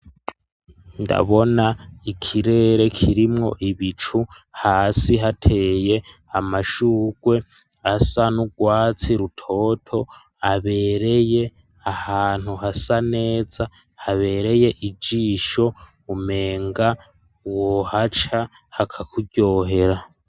ndabona ikirere kirimwo ibicu hasi hateye amashugwe asa n'urwatsi rutoto abereye ahantu hasa neza habereye ijisho umenga wohaca hakakubyohera